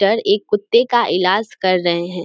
टर एक कुत्ते का इलाज कर रहे है।